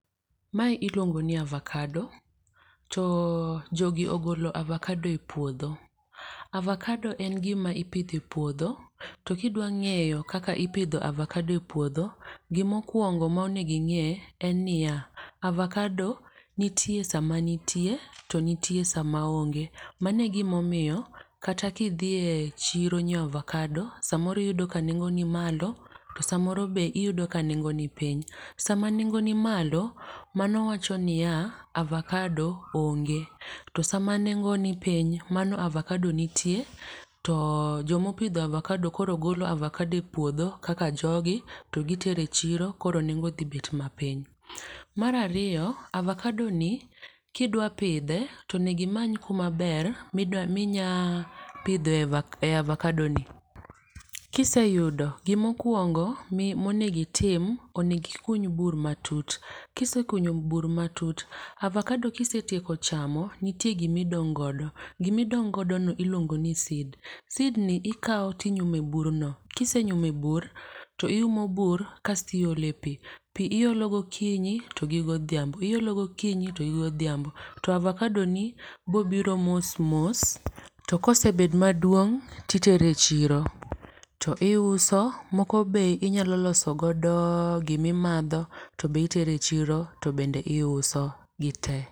Mae iluongo ni avocado. To jogi ogolo avacado e puodho. Avocado en gima ipidhe e puodho. To kidwa ng'eyo kaka ipidho avocado e puodho gimokuongo monegi ng'e en niya. Avocado nitie sama nitie to nitie sama oonge. Manegimomiyo kata kidhiye chiro nyiew avocado samoro iyudo ka nengo ni malo to samoro be iyudo ka nengo ni piny. Sama nengo ni malo, mano wacho niya, avocado onge. To sama nengo ni piny, mano avocado nitie. To jomopidho avocado koro golo avocado e puodho kaka jogi to gitero e chiro koro nengo dhi bet mapiny. Mar ariyo, avocado ni kidwa pidhe tonegi many kuma ber minyapidhe avocado ni. Kiseyudo gimokuongo monegitim, onegi kuny bur matut. Kisekunyo bur matut, avocado kisetieko chamo nitie gimidong' godo. Gimidong' godo no iluongo ni seed. Seed ni ikaw tinyume bur no. Kisenyume bur to iumo bur kastiole pi. Pi iolo gokinyi to gi godhiambo. Iolo gokinyi to gigodhiambo. To avocado ni bobiro mos mos. Tokosebed maduong' titere chiro. To iuso moko be inyalo loso godo gimimadho to be iterechiro to bende iuso gite.